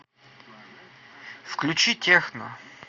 включи техно